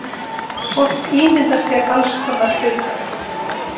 Fólk ímyndar sér alls konar hluti.